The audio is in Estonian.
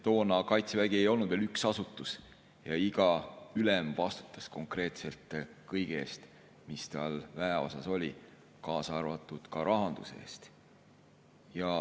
Toona Kaitsevägi ei olnud veel üks asutus ja iga ülem vastutas konkreetselt kõige eest, mis ta väeosas oli, kaasa arvatud rahanduse eest.